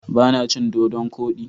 Ba na cin Dodon kodi.